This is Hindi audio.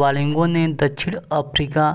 वालिगो ने दक्षिण अफ्रीका